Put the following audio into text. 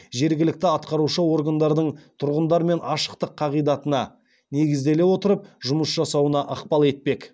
жергілікті атқарушы органдардың тұрғындармен ашықтық қағидатына негізделе отырып жұмыс жасауына ықпал етпек